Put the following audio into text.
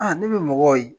ne bɛ mɔgɔw ye